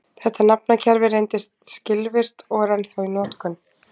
þetta nafnakerfi reyndist skilvirkt og er ennþá í notkun